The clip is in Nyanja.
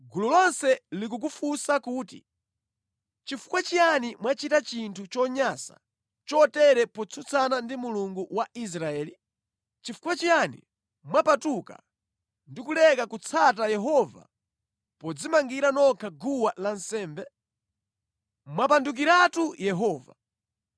“Gulu lonse likukufunsa kuti, ‘Chifukwa chiyani mwachita chinthu chonyansa chotere potsutsana ndi Mulungu wa Israeli? Nʼchifukwa chiyani mwapatuka ndi kuleka kutsata Yehova podzimangira nokha guwa lansembe? Mwapandukiratu Yehova!